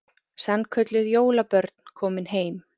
Sannkölluð jólabörn komin heim